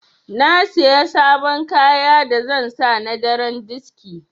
Na Siya sabon kaya da zan sa na daren diski.